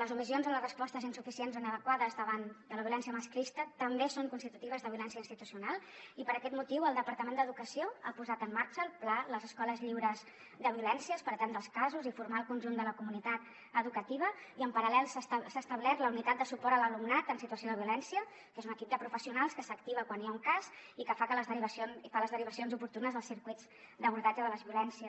les omissions o les respostes insuficients o inadequades davant de la violència masclista també són constitutives de violència institucional i per aquest motiu el departament d’educació ha posat en marxa el pla les escoles lliures de violències per atendre els casos i formar el conjunt de la comunitat educativa i en paral·lel s’ha establert la unitat de suport a l’alumnat en situació de violència que és un equip de professionals que s’activa quan hi ha un cas i que fa les derivacions oportunes als circuits d’abordatge de les violències